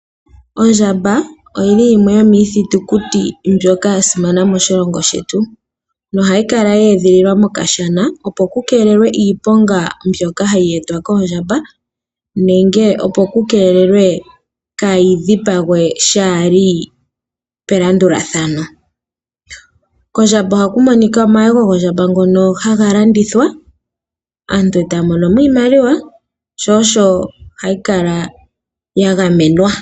Ondjamba oyili yimwe yomiithitukuti mbyoka ya simana moshilongo shetu nohayi kala ye edhililwa mokashana, opo ku keelelwe iiponga mbyoka hayi etwa koondjamba nenge opo ku keelelwe kaayi dhipagwe shaa li pelandulathano. Kondjamba ohaku monika omayego gondjamba ngono haga landithwa aantu etaya mono mo iimaliwa sho osho hayi kala ya gamenwa.